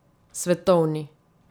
Svetovni.